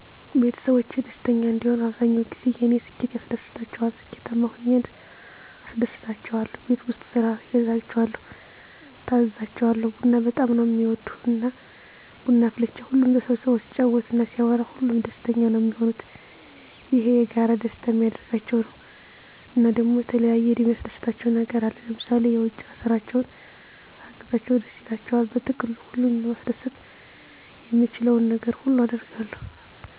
ቤተሰቦቼ ደስተኛ እንዲሆኑ አብዛኛዉ ጊዜ የኔ ስኬት ያስደስታቸዋል ስኬታማ ሁኘ አስደስታቸዋለሁ፣ ቤት ዉስጥ ስራ አግዛቸዋለሁ፣ እታዘዛቸዋለሁ፣ ቡና በጣም ነዉ እሚወዱ እና ቡና አፍልቼ ሁሉም ተሰብስቦ ሲጫወት እና ሲያወሩ ሁሉም ደስተኛ ነዉ እሚሆኑት፣ ይሄ የጋራ ደስተኛ እሚያደርጋቸዉ ነዉ። እና ደሞ የተለያየ የሚያስደስታቸዉ ነገር አለ ለምሳሌ የዉጭ ስራቸዉን ሳግዛቸዉ ደስ ይላቸዋል። በጥቅሉ ሁሉን ለማስደሰት የምችለዉን ነገር ሁሉ አደርጋለሁ።